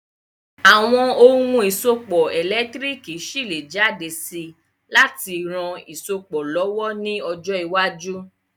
Àwon oun ìsopọ̀ ẹ̀lẹ́ntírikì ṣi lé jáde si láti ran isopọ̀ lọ̀wọ̀ ni ojọ́ iwájú